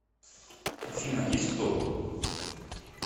афина есть кто